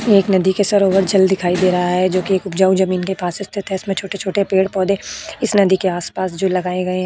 एक नदी के सरोवर जल दिखाई दे रहा है जोकि एक उपजाऊ जमीन के पास स्थित है इसमें छोटे-छोटे पेड़ पौधे इस नदी के आस-पास जो लगाएं गएं --